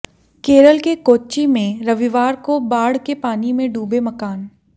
केरल के कोच्चि में रविवार को बाढ़ के पानी में डूबे मकान